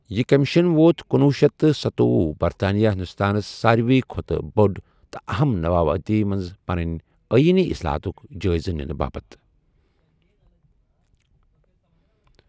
یہِ کیمشن ووت کنُۄہُ شیتھ تہٕ سَتوۄہُ برطانوی ہندوستانس ساروے کھۅتہٕ بڈِ تہٕ اہم نوآبادی منٛز پنٕنۍ آینی اصلاحاتک جایزٕ ننہ باپت۔